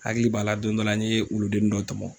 Hakili b'a la don dɔ la n ye wuludennin dɔ tɔmɔ!